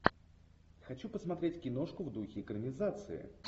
хочу посмотреть киношку в духе экранизации